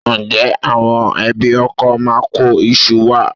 Ǹjẹ́ àwọn ẹbí ọkọ máa kó iṣu wá?